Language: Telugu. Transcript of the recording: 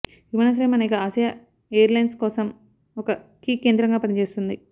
విమానాశ్రయం అనేక ఆసియా ఎయిర్లైన్స్ కోసం ఒక కీ కేంద్రంగా పనిచేస్తుంది